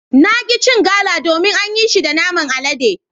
Na ki cin Gala domin an yi shi da naman alade.